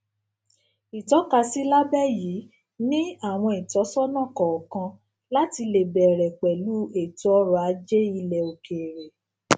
ìtọkasí lábẹ yìí ni àwọn ìtósónà kọọkan láti lè bẹrẹ pẹlú ètò ọrọ-ajé ilẹ òkèèrè